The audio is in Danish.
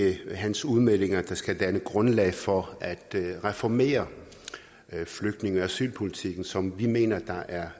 ikke hans udmeldinger der skal danne grundlag for at reformere flygtninge og asylpolitikken sådan som vi mener at der er